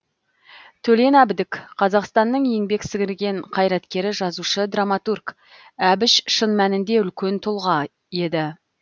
төлен әбдік қазақстанның еңбек сіңірген қайраткері жазушы драматург әбіш шын мәнінде үлкен тұлға еді